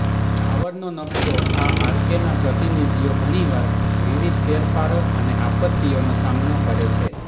ટાવરનો નક્શો આ આર્કેના પ્રતિનિધિઓ ઘણીવાર વિવિધ ફેરફારો અને આપત્તિઓનો સામનો કરે છે